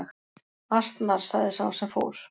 Asnar sagði sá sem fór.